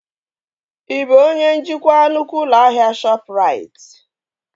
Ị bụ onye njikwa nnukwu ụlọ ahịa Shọpụrait?